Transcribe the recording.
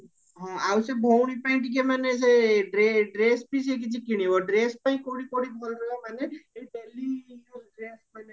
ହଁ ଆଉ ସେ ଭଉଣୀ ପାଇଁ ଟିକେ ମାନେ ସେ ଡ୍ରେସ ବି ସିଏ କିଛି କିଣିବା ଡ୍ରେସ ପାଇଁ କଉଠି କଉଠି ଭଲ ରହିବ ମାନେ ଏଇ daily use ଡ୍ରେସ ମାନେ